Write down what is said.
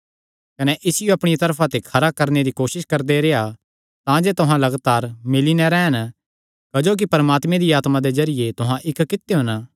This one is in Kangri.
कने इसियो अपणिया तरफा ते खरा करणे दी कोसस करदे रेह्आ तांजे तुहां लगातार मिल्ली नैं रैह़न क्जोकि परमात्मे दिया आत्मा दे जरिये तुहां इक्क कित्यो हन